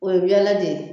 O ye ɲɛna de ye